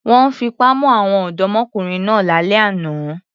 Wọ́n fipá mú àwọn ọ̀dọ́mọkùnrin náà lálẹ́ àná.